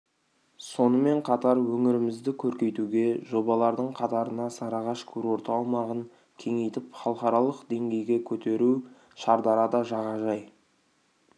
сонымен қатар өңірімізді көркейтудегі жобалардың қатарына сарыағаш курорты аумағын кеңейтіп халықаралық деңгейге көтеру шардарада жағажай